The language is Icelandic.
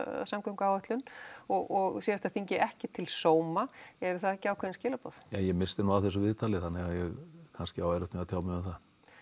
samgönguáætlun og síðasta þingi ekki til sóma eru það ekki ákveðin skilaboð ég missti nú af þessu viðtali þannig að ég á kannski erfitt með að tjá mig um það